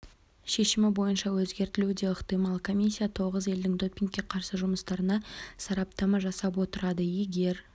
шешімі бойынша өзгертілуі де ықтимал комиссия тоғыз елдің допингке қарсы жұмыстарына сараптама жасап отырады егер